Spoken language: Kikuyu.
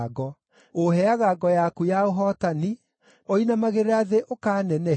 Ũũheaga ngo yaku ya ũhootani; ũinamagĩrĩra thĩ ũkaanenehia.